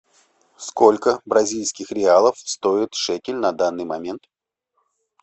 сколько бразильских реалов стоит шекель на данный момент